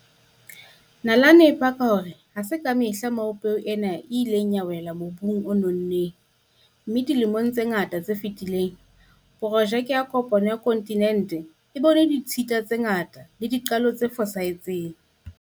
Nalane e paka hore ha se ka mehla moo peo ena e ileng ya wela mobung o nonneng, mme dilemong tse ngata tse fetileng, porojeke ya kopano ya kontinente e bone ditshita tse ngata le qalo tse fosahetseng.